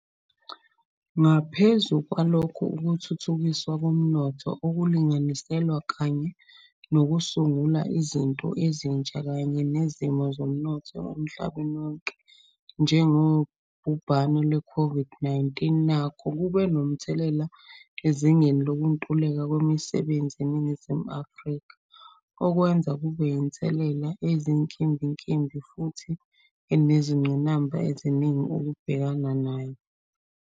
Ngaphezu kwalokho, ukuthuthukiswa komnotho okulinganiselwa kanye nokusungula izinto ezintsha, kanye nozimo zomnotho emhlabeni wonke, njengobhubhane lwe COVID-19, nakhu kube nomthelela ezingeni lokuntuleka kwemisebenzi e Ningizimu Afrika, okwenza kube yinselelele eyinkimbinkimbi futhi enezingqinamba eziningi ukubhekana nayo.